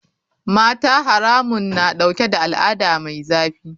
Mata haramun na dauke da al'ada mai zafi.